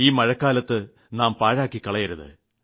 ഈ മഴക്കാലം നാം പാഴാക്കിക്കളയരുത്